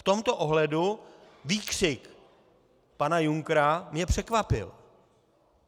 V tomto ohledu výkřik pana Junckera mě překvapil.